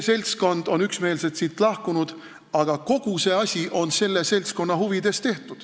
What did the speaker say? Nad on üksmeelselt lahkunud, aga kogu see asi on selle seltskonna huvides tehtud.